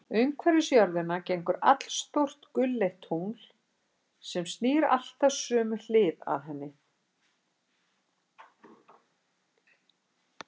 Umhverfis jörðina gengur allstórt gulleitt tungl, sem snýr alltaf sömu hlið að henni.